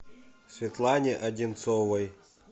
светлане одинцовой